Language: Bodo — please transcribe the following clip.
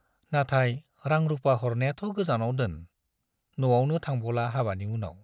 नाथाय रां- रुपा हरनायाथ' गोजानाव दोन, न'आवनो थांबावला हाबानि उनाव।